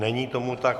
Není tomu tak.